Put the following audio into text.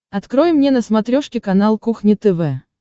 открой мне на смотрешке канал кухня тв